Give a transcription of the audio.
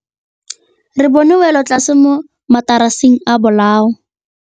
Re bone wêlôtlasê mo mataraseng a bolaô.